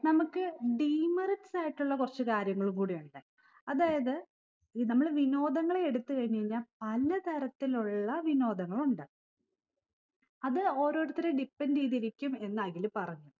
നമ്മക്ക് demerits ആയിട്ടുള്ള കുറച്ച് കാര്യങ്ങളും കൂടിയുണ്ട് അതായത് ഈ നമ്മള് വിനോദങ്ങളെ എടുത്ത് കഴിഞ്ഞ് കഴിഞ്ഞ പല തരത്തിലുള്ള വിനോദങ്ങളുണ്ട് അത് ഓരോരുത്തരെയും depend എയ്തിരിക്കും എന്ന് അഖില് പറഞ്ഞു